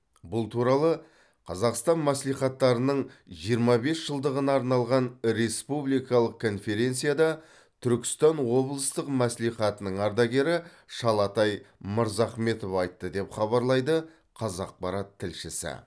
бұл туралы қазақстан мәслихаттарының жиырма бес жылдығына арналған республикалық конференцияда түркістан облыстық мәслихатының ардагері шалатай мырзахметов айтты деп хабарлайды қазақпарат тілшісі